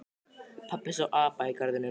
Pabbi sá apa í garðinum.